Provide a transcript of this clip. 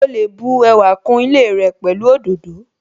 Ó lè bu ẹwà kún ilé rẹ pẹ̀lú òdòdó